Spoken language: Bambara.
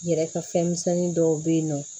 N yɛrɛ ka fɛn misɛnnin dɔw bɛ yen nɔ